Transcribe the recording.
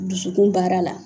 Dusukun baara la